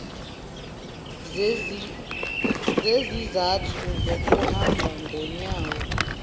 zezizathu zokuhamba ngonyawo